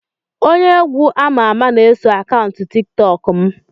Onye egwu ama ama na-eso akaụntụ tiktok m